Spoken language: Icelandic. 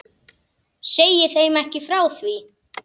Segi þeim ekki frá því.